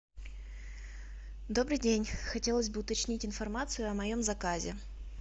добрый день хотелось бы уточнить информацию о моем заказе